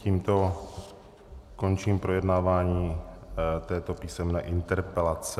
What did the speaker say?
Tímto končím projednávání této písemné interpelace.